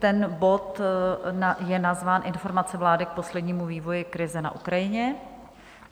Ten bod je nazván Informace vlády k poslednímu vývoji krize na Ukrajině.